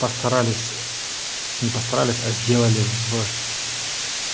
постарались не постарались а сделали в